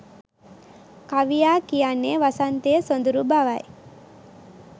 කවියා කියන්නේ වසන්තය සොඳුරු බවයි.